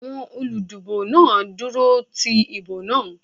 Àwọn olúdìbò náà dúró ti ìbò wọn.